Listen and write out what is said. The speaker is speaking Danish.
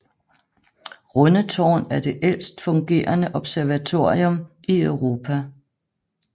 Rundetårn er det ældst fungerende observatorium i Europa